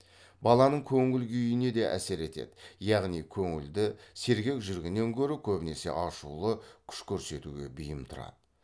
баланың көңіл күйіне де әсер етеді яғни көңілді сергек жүргеннен гөрі көбінесе ашулы күш көрсетуге бейім тұрады